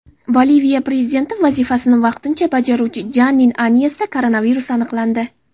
Boliviya prezidenti vazifasini vaqtincha bajaruvchi Janin Anyesda koronavirus aniqlandi.